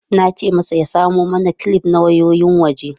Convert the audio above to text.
Na ce masa ya samo mana kilif na wayoyin waje.